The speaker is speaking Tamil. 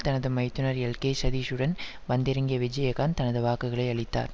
தனது மைத்துனர் எல்கே சுதீஷுடன் வந்திறங்கிய விஜயகாந்த் தனது வாக்குகளை அளித்தார்